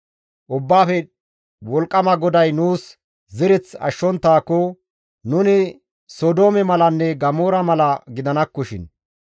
Ubbaafe Wolqqama GODAY nuus zereth ashshonttaakko, nuni Sodoome malanne Gamoora mala gidanakkoshin.